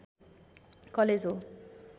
college हो